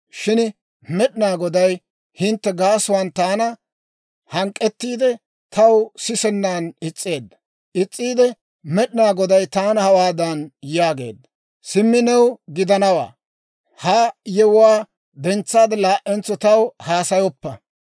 «Shin Med'inaa Goday hintte gaasuwaan taana hank'k'ettiide, taw sisennan is's'eedda; Med'inaa Goday taana hawaadan yaageedda; ‹Simmi new gidanawaa; ha yewuwaa dentsaade laa"entso taw haasayoppa.